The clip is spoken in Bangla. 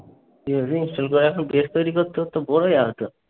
install করার পর date তৈরি করতে করতে bore হয়ে যাবি তো।